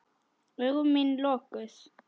Augu mín lokuð.